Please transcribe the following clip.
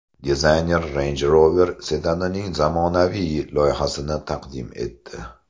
Dizayner Range Rover sedanining zamonaviy loyihasini taqdim etdi .